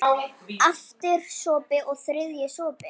Aftur sopi, og þriðji sopi.